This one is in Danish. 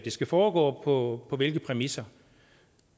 skal foregå og på hvilke præmisser